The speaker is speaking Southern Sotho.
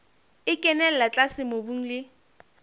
e kenella tlase mobung le